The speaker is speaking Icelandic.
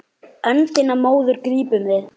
Öndina móðir grípum við.